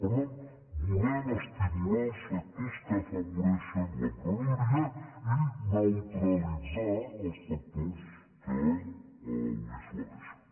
per tant volem estimular els sectors que afavoreixen l’emprenedoria i neutralitzar els factors que ho dissuadeixen